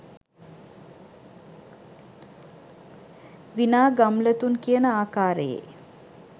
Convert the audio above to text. විනා ගම්ලතුන් කියන ආකාරයේ